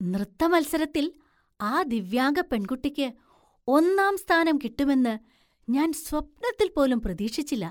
നൃത്തമത്സരത്തിൽ ആ ദിവ്യാംഗ പെണ്‍കുട്ടിക്ക് ഒന്നാം സ്ഥാനം കിട്ടുമെന്ന് ഞാൻ സ്വപ്നത്തിൽ പോലും പ്രതീക്ഷിച്ചില്ല.